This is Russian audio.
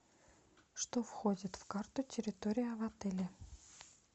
что входит в карту территория отеля